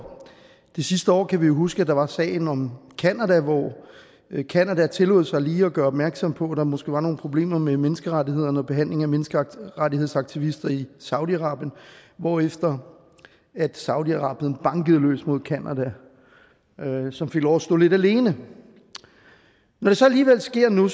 det sidste år kan vi jo huske at der var sagen om canada hvor canada tillod sig lige at gøre opmærksom på at der måske var nogle problemer med menneskerettighederne og behandlingen af menneskerettighedsaktivister i saudi arabien hvorefter saudi arabien bankede løs mod canada som fik lov at stå lidt alene når det så alligevel sker nu